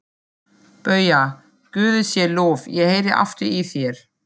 BAUJA: Guði sé lof, ég heyri aftur í þér!